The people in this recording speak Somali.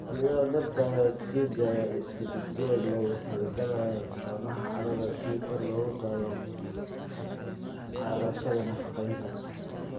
Xididdada dhirta ayaa sii daaya isku-dhisyo la falgala noolaha carrada si kor loogu qaado qaadashada nafaqeynta.